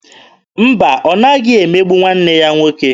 Mba, ọ naghị emegbu nwanne ya nwoke.